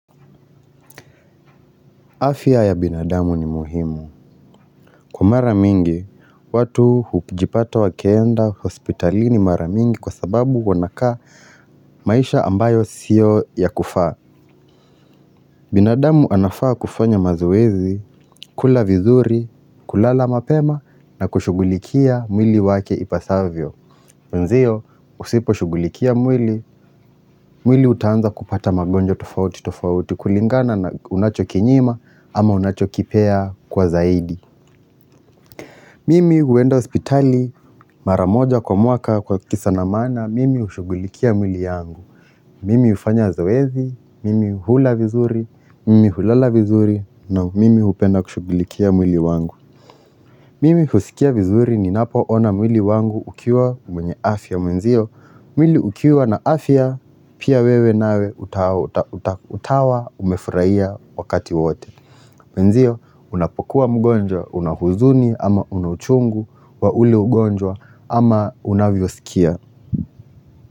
Afya ya binadamu ni muhimu. Kwa maramingi, watu hujipata wakienda hospitalini maramingi kwa sababu wanaka maisha ambayo sio ya kufaa. Binadamu anafaa kufanya mazoezi, kula vizuri, kulala mapema na kushugulikia mwili wake ipasavyo. Nzio, usipo shugulikia mwili, mwili utanza kupata magonjwa tofauti tofauti kulingana na unacho kinyima ama unacho kipea kwa zaidi. Mimi huwenda hospitali mara moja kwa mwaka kwa kisa na maana, mimi hushugulikia mwili yangu. Mimi hufanya zoezi, mimi hula vizuri, mimi hulala vizuri, na mimi hupenda kushugulikia mwili wangu. Mimi husikia vizuri ninapo ona mwili wangu ukiwa mwenye afya mwenzio. Mwili ukiwa na afya, pia wewe nawe utawa umefuhia wakati wote. Mwenzio, unapokuwa mgonjwa, unahuzuni, ama una uchungu, wa ule ugonjwa, ama unavyo sikia.